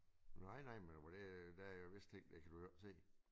Nej nej men hvad det der er jo visse ting det kan du jo ikke se